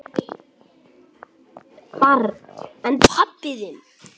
Barn: En pabbi þinn?